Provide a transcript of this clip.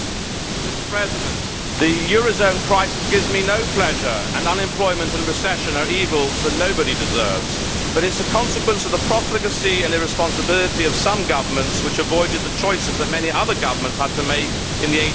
Mr President, the eurozone crisis gives me no pleasure and unemployment and recession are evils that nobody deserves, but they are a consequence of the profligacy and irresponsibility of some governments which avoided the choices that many other governments had to make in the 1980s